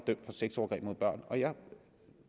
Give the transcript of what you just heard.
sexovergreb mod børn og jeg